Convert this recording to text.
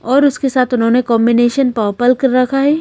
और उसके साथ उन्होंने कांबिनेशन पर्पल कर रखा है।